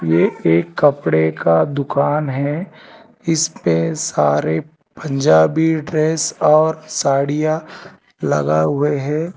ये एक कपड़े का दुकान है इस पे सारे पंजाबी ड्रेस और साड़ियां लगा हुए हैं।